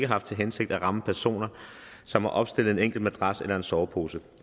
haft til hensigt at ramme personer som har opstillet en enkelt madras eller en sovepose